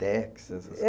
Texas,